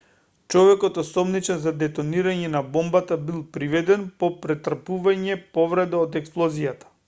човекот осомничен за детонирање на бомбата бил приведен по претрпување повреди од експлозијата